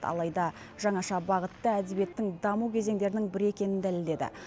алайда жаңаша бағытты әдебиеттің даму кезеңдерінің бірі екенін дәлелдеді